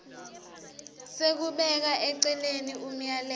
sekubeka eceleni umyalelo